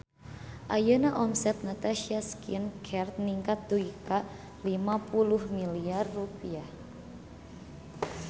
Ayeuna omset Natasha Skin Care ningkat dugi ka 50 miliar rupiah